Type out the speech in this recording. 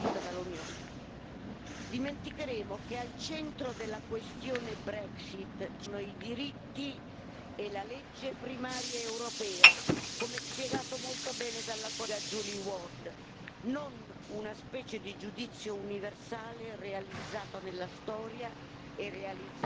Dimenticheremo che al centro della questione Brexit ci sono i diritti e la legge primaria europea, come spiegato molto bene dalla collega Julie Ward, non una specie di giudizio universale realizzato nella storia e realizzato prima del tempo.